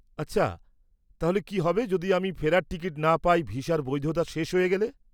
-আচ্ছা, তাহলে কী হবে যদি আমি ফেরার টিকিট না পাই ভিসার বৈধতা শেষ হয়ে গেলে?